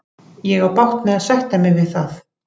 Ég á bágt með að sætta mig við það.